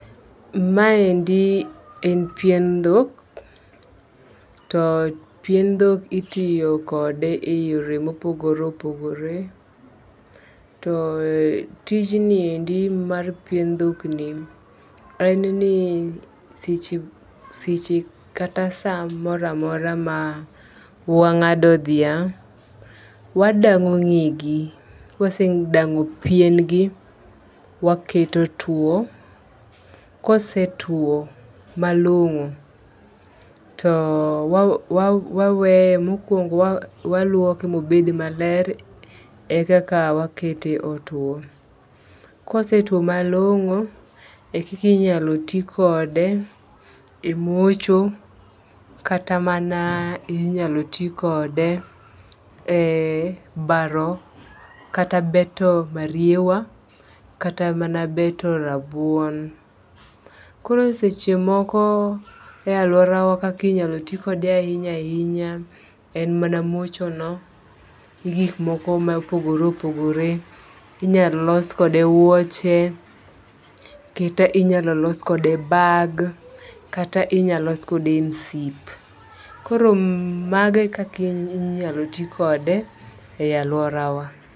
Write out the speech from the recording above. Ma endi en pien dhok. To pien dhok itiyo kode e yore mopogore opogore. To tijni endi mar pien dhok ni en ni seche seche kata saa moramora ma wang'ado dhiang' , wadang'o ng'egi. Kwasedang'o pien gi waketo tuo, kosetuo malong'o to wa wa wawe mokwongo wa waluoke mobed maler e kaka wakete otwo . Kosetwo malong'o e koka inyalo tii kode e mocho kata mana inyalo tii kode e baro kata beto mariewa kata mana beto rabuon. Koro e seche moko e aluora wa kaki nyalo tii kode ahinya ahinya en mana mocho no , gi gik moko mopogore opogore. Inyalo los kode wuoche, kata inyalo los kode bag kata inyalo los kode msip. Koro mage e kaka inyalo tii kode e aluorawa.